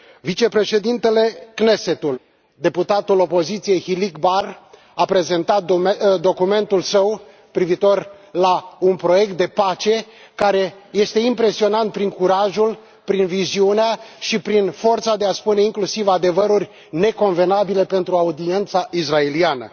Vicepreședintele Knessetului, deputatul opoziției Hilik Bar, a prezentat documentul său privitor la un proiect de pace, care este impresionant prin curajul, prin viziunea și prin forța de a spune inclusiv adevăruri neconvenabile pentru audiența israeliană.